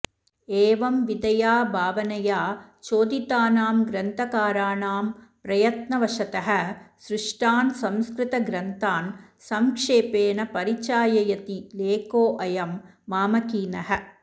एवं विधया भावनया चोदितानां ग्रन्थकाराणां प्रयत्नवशतः सृष्टान् संस्कृत ग्रन्थान् संक्षेपेण परिचाययति लेखोऽयं मामकीनः